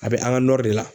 A bɛ an ka nɔri de la